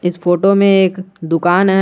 इस फोटो में एक दुकान है।